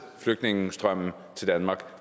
ind